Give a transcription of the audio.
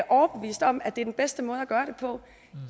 overbevist om at det er den bedste måde at gøre det på